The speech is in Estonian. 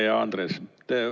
Hea Andres!